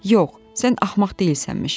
Yox, sən axmaq deyilsənmiş.